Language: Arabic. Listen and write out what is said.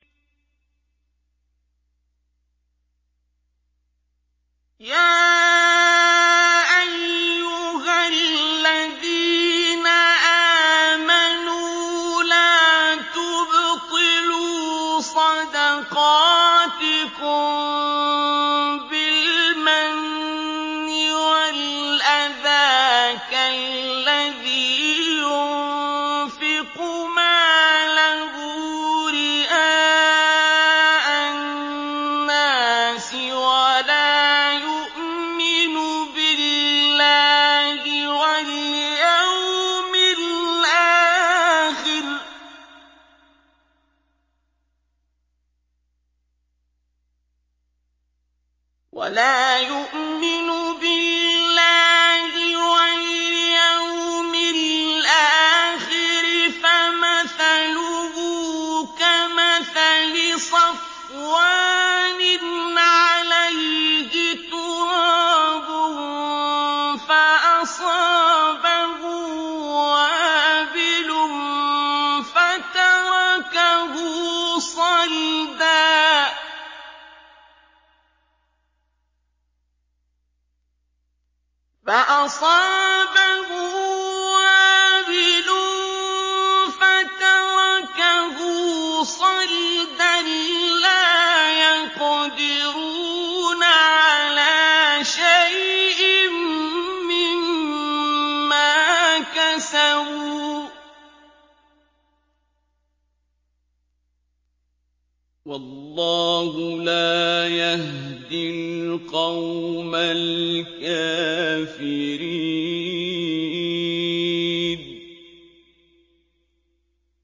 يَا أَيُّهَا الَّذِينَ آمَنُوا لَا تُبْطِلُوا صَدَقَاتِكُم بِالْمَنِّ وَالْأَذَىٰ كَالَّذِي يُنفِقُ مَالَهُ رِئَاءَ النَّاسِ وَلَا يُؤْمِنُ بِاللَّهِ وَالْيَوْمِ الْآخِرِ ۖ فَمَثَلُهُ كَمَثَلِ صَفْوَانٍ عَلَيْهِ تُرَابٌ فَأَصَابَهُ وَابِلٌ فَتَرَكَهُ صَلْدًا ۖ لَّا يَقْدِرُونَ عَلَىٰ شَيْءٍ مِّمَّا كَسَبُوا ۗ وَاللَّهُ لَا يَهْدِي الْقَوْمَ الْكَافِرِينَ